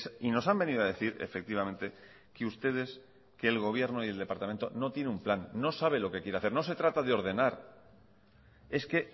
y nos han venido a decir efectivamente que ustedes que el gobierno y el departamento no tiene un plan no sabe lo que quiere hacer no se trata de ordenar es que